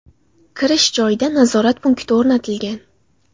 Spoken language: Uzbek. Kirish joyida nazorat punkti o‘rnatilgan.